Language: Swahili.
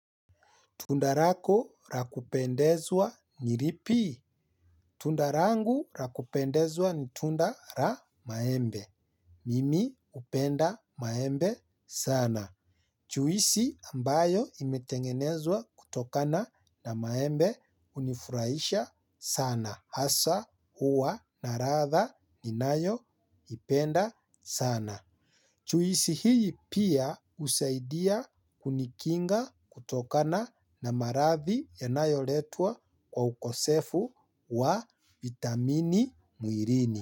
Tunda rako ra kupendezwa ni ripi? Tunda rangu rakupendezwa ni tunda ra maembe. Mimi upenda maembe sana. Chuisi ambayo imetengenezwa kutokana na maembe hunifurahisha sana. Hasa huwa na radha ninayo ipenda sana. Chuisi hii pia husaidia kunikinga kutokana na maradhi yanayoletwa kwa ukosefu wa vitamini muirini.